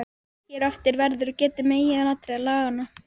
Hér á eftir verður getið meginatriða laganna.